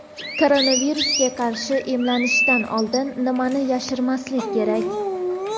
Koronavirusga qarshi emlanishdan oldin nimani yashirmaslik kerak?.